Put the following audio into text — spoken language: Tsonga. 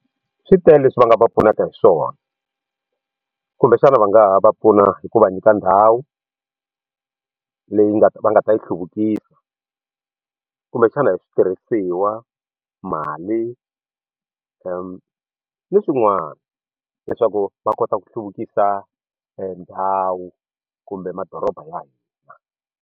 Swi tele leswi va nga va pfunaka hi swona kumbexana va nga ha va pfuna hi ku va nyika ndhawu leyi nga ta va nga ta yi hluvukisa kumbexana hi switirhisiwa mali ni swin'wana leswaku va kota ku hluvukisa ndhawu kumbe madoroba ya hina.